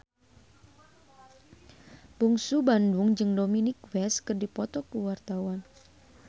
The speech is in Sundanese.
Bungsu Bandung jeung Dominic West keur dipoto ku wartawan